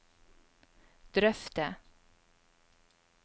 drøfte